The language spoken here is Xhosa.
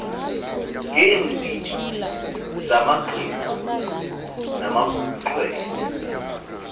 ngeendidi zamagqirha namaxhwele